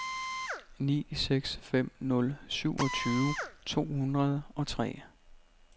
ni seks fem nul syvogtyve to hundrede og tre